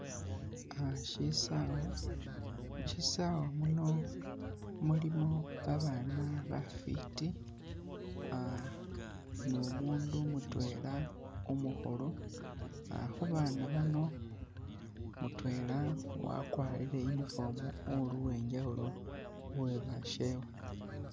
Aha shisawa, mushisawa muno mulimo babana bafiti numundu mutwela umukhulu, khubana bano mutwela wakwarile uniform uli uwenjawulo khuwebashewe.